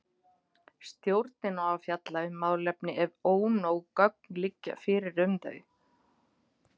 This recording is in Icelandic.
Stjórnin á að fjalla um málefni ef ónóg gögn liggja fyrir um þau.